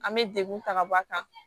An bɛ degun ta ka bɔ a kan